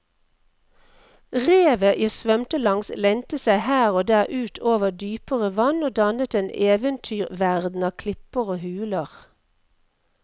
Revet jeg svømte langs lente seg her og der ut over dypere vann og dannet en eventyrverden av klipper og huler.